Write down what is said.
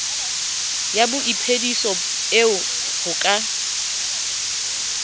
ya boiphediso eo ho ka